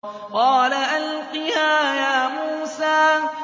قَالَ أَلْقِهَا يَا مُوسَىٰ